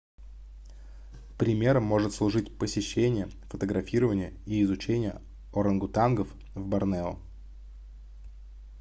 примером может служить посещение фотографирование и изучение орангутангов в борнео